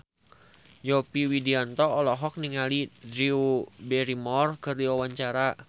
Yovie Widianto olohok ningali Drew Barrymore keur diwawancara